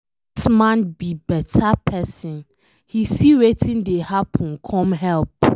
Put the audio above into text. Dat man be beta person, he see wetin dey happen come help.